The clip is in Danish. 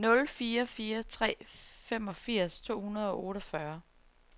nul fire fire tre femogfirs to hundrede og otteogfyrre